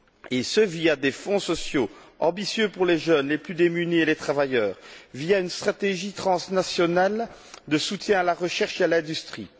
Et ce, via des fonds sociaux ambitieux pour les jeunes, les plus démunis et les travailleurs, via une stratégie transnationale de soutien à la recherche et à l'industrie.